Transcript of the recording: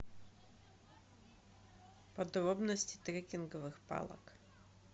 подробности трекинговых палок